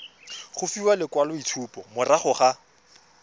go fiwa lekwaloitshupo morago ga